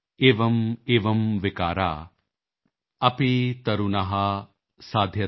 ਏਵੰ ਏਵੰ ਵਿਕਾਰ ਅਪੀ ਤਰੁਨਹਾ ਸਾਧਯਤੇ ਸੁਖੰ